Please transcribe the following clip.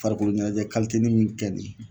Farikolo ɲɛnajɛ nin min kɛ nin